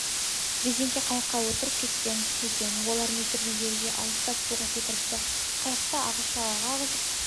резеңке қайыққа отырып кеткен екен олар метрдей жерге алыстап суға секіріпті қайықты ағыс жағаға ағызып